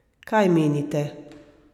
Kaj menite?